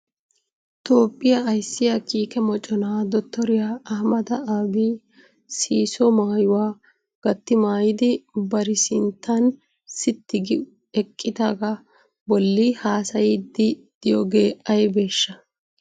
Toophiya ayssiya Kiike Moccona Dottoriya Ahhamada Aabi siisso maayuwa gati maayidi bari sinttan sitti gi eqqidaaga bolli haassaydde diyooge aybbeshsha?